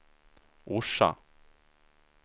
Orsa